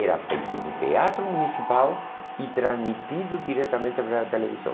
Era feito no teatro municipal e transmitido diretamente para a televisão.